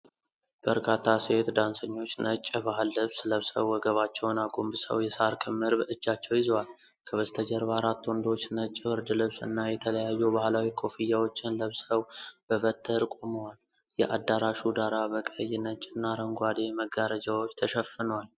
በርካታ ሴት ዳንሰኞች ነጭ የባህል ልብስ ለብሰው ወገባቸውን አጎንብሰው የሳር ክምር በእጃቸው ይዘዋል። ከበስተጀርባ አራት ወንዶች ነጭ ብርድ ልብስ እና የተለያዩ ባሕላዊ ኮፍያዎችን ለብሰው በበትር ቆመዋል። የአዳራሹ ዳራ በቀይ፣ ነጭ እና አረንጓዴ መጋረጃዎች ተሸፍኗል።